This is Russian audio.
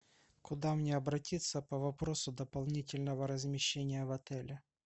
куда мне обратиться по вопросу дополнительного размещения в отеле